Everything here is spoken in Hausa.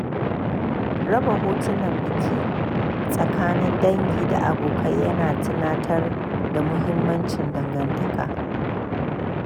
Raba hotunan biki tsakanin dangi da abokai ya na tunatar da muhimmancin dangantaka.